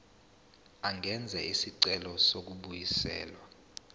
angenza isicelo sokubuyiselwa